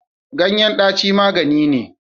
Ganyen daci magani ne.